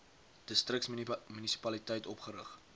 distriks munisipaliteit opgerig